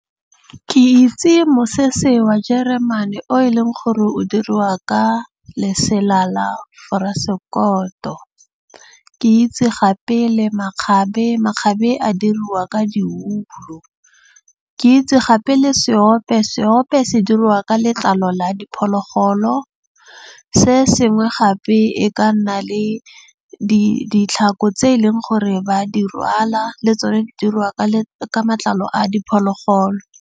Ke itse mosese wa jeremane o e leng gore o diriwa ka lesela la foresekoto. Ke itse gape le makgabe. Makgabe a diriwa ka di . Ke itse gape le seope. Seope se diriwa ka letlalo ka la diphologolo. Se sengwe gape e ka nna le ditlhako tse e leng gore ba di rwala le tsone di diriwa ka matlalo a diphologolo.